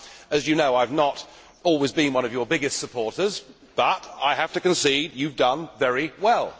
As you know, I have not always been one of your biggest supporters, but I have to concede you have done very well.